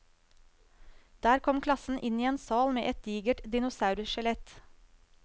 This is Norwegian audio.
Der kom klassen inn i en sal med et digert dinosaurskjelett.